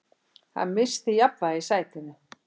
Hann missti jafnvægið í sætinu.